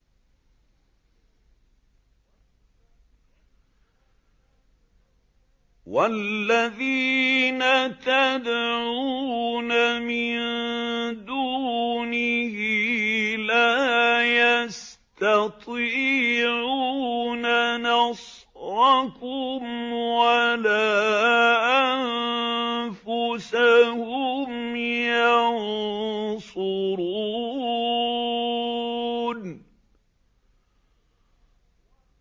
وَالَّذِينَ تَدْعُونَ مِن دُونِهِ لَا يَسْتَطِيعُونَ نَصْرَكُمْ وَلَا أَنفُسَهُمْ يَنصُرُونَ